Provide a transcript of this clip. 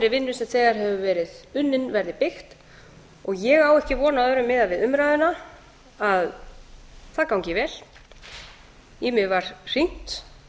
vinnu sem þegar hefur verið unnin verði byggt ég á ekki von á öðru miðað við umræðuna en að það gangi vel í mig var hringt